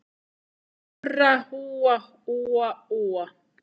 Murra úa, úa, úa.